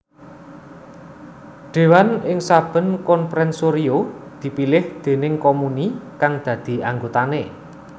Déwan ing saben comprensorio dipilih déning comuni kang dadi anggotané